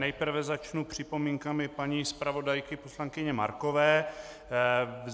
Nejprve začnu připomínkami paní zpravodajky poslankyně Markové.